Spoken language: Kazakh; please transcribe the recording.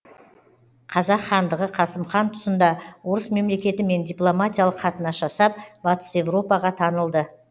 қазақ хандығы қасым хан тұсында орыс мемлекетімен дипломатиялық қатынас жасап батыс европаға танылды